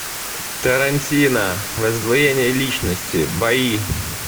тарантино раздвоение личности бои